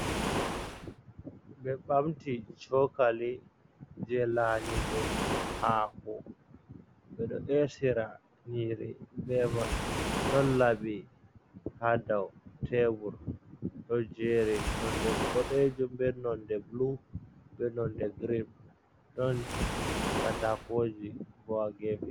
Be ɓamti cokali je lanyugo hako ɓe ɗo e'sira nyiri be man don labi ha daw tebur ɗo jeri nonɗe bodejum be nonɗe bulu be nonde girin don katakoji bo.